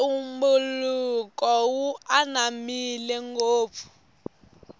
ntumbuluko wu ananmile ngopfu